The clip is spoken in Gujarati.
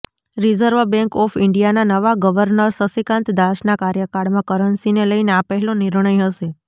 રિઝર્વ બેન્ક ઓફ ઈન્ડિયાના નવા ગવર્નર શક્તિકાંત દાસના કાર્યકાળમાં કરન્સીને લઈને આ પહેલો નિર્ણય હશે